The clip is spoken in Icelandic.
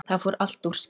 Það fór allt úrskeiðis